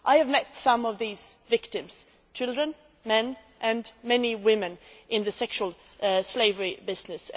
I have met some of these victims children, men and many women in the sexual slavery business.